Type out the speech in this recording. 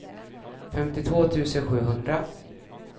femtiotvå tusen sjuhundra